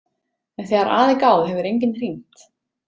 En þegar að er gáð hefur enginn hringt.